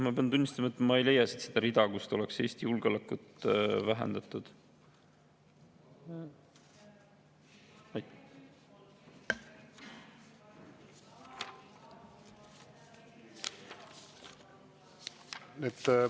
Ma pean tunnistama, et ma ei leia siit seda rida, kus oleks näha Eesti julgeoleku vähendamine.